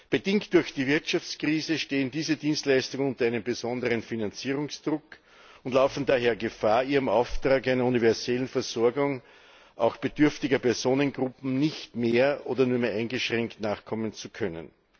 Bedingt durch die Wirtschaftskrise stehen diese Dienstleistungen unter einem besonderen Finanzierungsdruck und laufen daher Gefahr, ihrem Auftrag einer universellen Versorgung, auch bedürftiger Personengruppen, gar nicht mehr oder nur eingeschränkt nachkommen zu können.